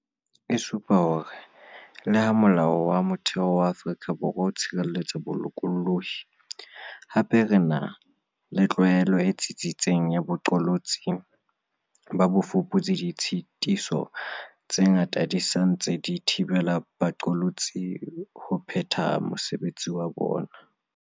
E supa hore le ha Molao wa Motheo wa Afrika Borwa o tshireletsa bolokolohi, hape re ena le tlwaelo e tsitsitseng ya boqolotsi ba bofuputsi, ditshitiso tse ngata di sa ntse di thibela baqolotsi ho phetha mosebetsi wa bona.